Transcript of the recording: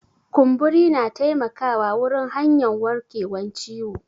Kumburi na taimaka wurin hanyan warkewan ciwo.